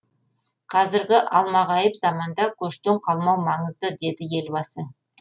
қазіргі алмағайып заманда көштен қалмау маңызды деді елбасы